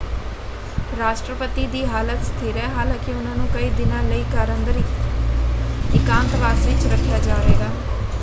ਰਾਸ਼ਟਰਪਤੀ ਦੀ ਹਾਲਤ ਸਥਿਰ ਹੈ ਹਾਲਾਂਕਿ ਉਹਨਾਂ ਨੂੰ ਕਈ ਦਿਨਾਂ ਲਈ ਘਰ ਅੰਦਰ ਇਕਾਂਤਵਾਸ ਵਿੱਚ ਰੱਖਿਆ ਜਾਵੇਗਾ।